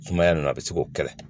Sumaya nana a bɛ se k'o kɛlɛ